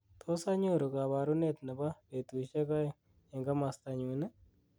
tos anyoru koborunet nebo betusyek oeng' en komostonyun ii